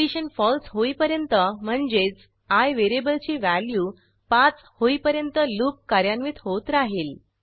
condition फळसे होईपर्यंत म्हणजेच आय व्हेरिएबल ची व्हॅल्यू 5 होईपर्यंत लूप कार्यान्वित होत राहील